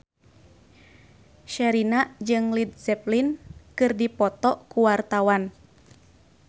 Sherina jeung Led Zeppelin keur dipoto ku wartawan